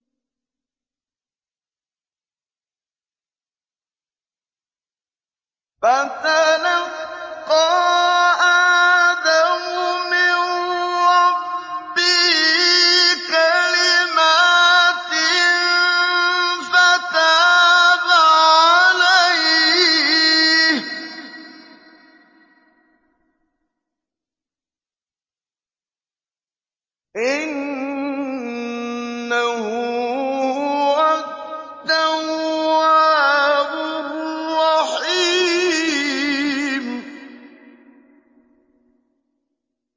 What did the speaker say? فَتَلَقَّىٰ آدَمُ مِن رَّبِّهِ كَلِمَاتٍ فَتَابَ عَلَيْهِ ۚ إِنَّهُ هُوَ التَّوَّابُ الرَّحِيمُ